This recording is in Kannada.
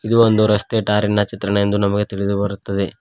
ಇದು ಒಂದು ರಸ್ತೆ ಟಾರಿನ ಚಿತ್ರಣವೆಂದು ನಮಗೆ ತಿಳಿದು ಬರುತ್ತದೆ.